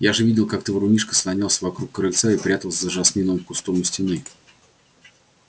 я же видел как ты врунишка слонялся вокруг крыльца и прятался за жасминовым кустом у стены